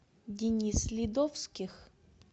денис ледовских